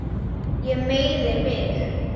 Ég meiði mig.